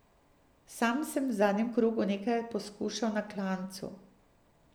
Sam sem v zadnjem krogu nekaj poskušal na klancu.